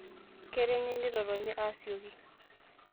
Kenare neitotoni aasioki.